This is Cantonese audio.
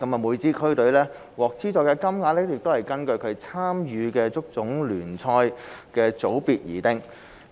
每支區隊獲資助的金額是根據其參與的足總聯賽組別而定。